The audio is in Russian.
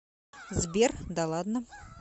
сбер да ладно